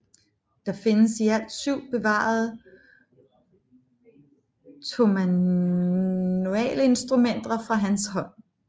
Der findes i alt syv bevarede tomanualsinstrumenter fra hans hånd